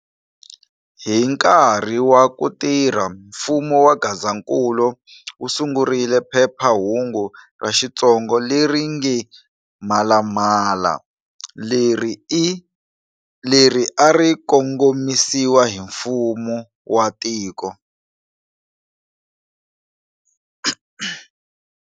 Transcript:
Hi nkarhi wa kutirhela mfumo wa Gazankulu, usungurile phephahungu ra xitsonga leri nge"Mhalamhala", leri a rikongomisiwa hi mfumo wa tiko.